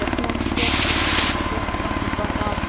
Þrír menn svömluðu um í sökkvandi brakinu.